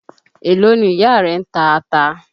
Èló ni ìyá rẹ ń ta ata?